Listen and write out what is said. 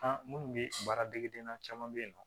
An minnu bɛ baara degedenya caman bɛ yen nɔ